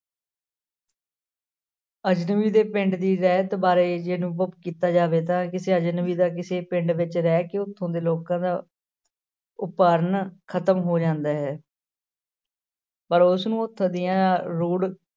ਅਜ਼ਨਬੀ ਦੇ ਪਿੰਡ ਦੀ ਰਹਿਤ ਬਾਰੇ ਜੇ ਅਨੁਭਵ ਕੀਤਾ ਜਾਵੇ ਤਾਂ ਕਿਸੇ ਅਜ਼ਨਬੀ ਦਾ ਕਿਸੇ ਪਿੰਡ ਵਿੱਚ ਰਹਿ ਕੇ ਉੱਥੋਂ ਦੇ ਲੋਕਾਂ ਦਾ ਉਪਰਨ ਖ਼ਤਮ ਹੋ ਜਾਂਦਾ ਹੈ ਪਰ ਉਸਨੂੰ ਉੱਥੋਂ ਦੀਆਂ ਰੋਡ